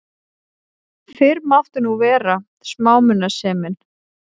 Fyrr mátti nú vera smámunasemin!